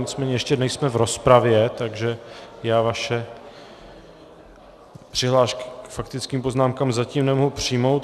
Nicméně ještě nejsme v rozpravě, takže já vaše přihlášky k faktickým poznámkám zatím nemohu přijmout.